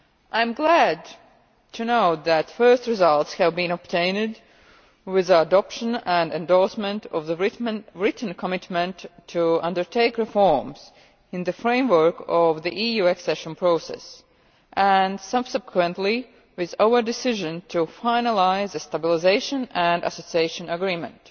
I am glad to know that the first results have been obtained with the adoption and endorsement of the written commitment to undertake reforms in the framework of the EU accession process, and subsequently with our decision to finalise a Stabilisation and Association Agreement.